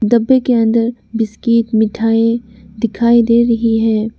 डब्बे के अंदर बिस्किट मिठाई दिखाई दे रही है।